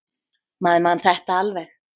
Maður man þetta alveg.